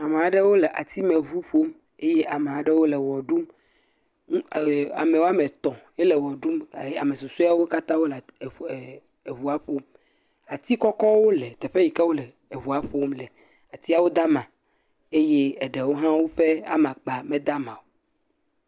Ame aɖewo le atime ʋu ƒom eye ame aɖewo le wɔɖum ame etɔe le wɔɖum susuewo katã wole ʋua ƒom ati kɔkɔwo le yeƒe yi ke wole ʋua ƒom le atiawo de ama eye ɖewo ha ƒe amakpa ha mede ama o